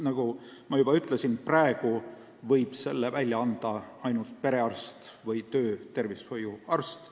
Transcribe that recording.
Nagu ma juba ütlesin, praegu võib selle välja anda ainult perearst või töötervishoiuarst.